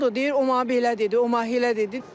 Deyir o mənə belə dedi, o mənə elə dedi.